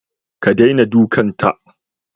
Ka daina dukanta